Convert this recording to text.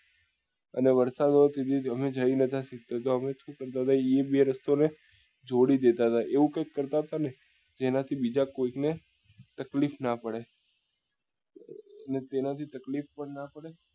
અને વરસાદ વાળી જૂની સઈદ ની જાળી એ બે રસ્તાઓ ને જોડી delta હતા એવું જ કાઈક કરતા હતા ને જેના થી બીજા કોઈ ને તકલીફ નાં પડે અને તેના થી તકલીફ પણ નાં પડે